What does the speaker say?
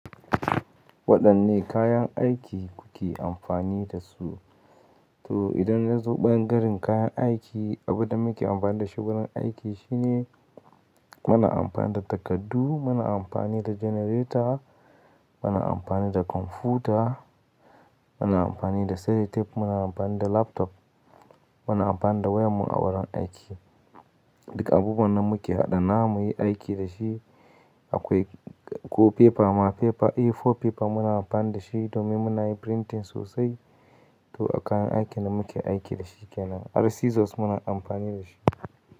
Waɗanne kayan aiki kuke amfani da su? To idan na zo ɓangaren kayan aiki, abin da muke amfani da shi wurin aiki shine, muna amfani da takardu, muna amfani da generator, muna amfani da kwamfuta, muna amfani da sellotape, muna amfani da laptop, muna amfani da wayar mu a wurin aiki. Duka abubuwan nan muke haɗa na mu yi aiki da shi. Akwai ko fefa ma fefa, A4 fefa muna amfani da shi domin muna yin printing sosai. To a kayan aikin da muke aiki da shi kenan. Har scissors muna amfani da shi.